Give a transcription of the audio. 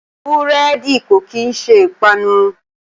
Búrẹ́dì ò kí ń ṣe ìpanu